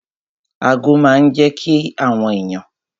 Ago máa n jẹ́ kí àwọn èèyàn